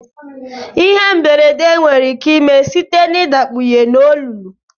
Ihe mberede nwere ike ime site na idakpunye na olulu.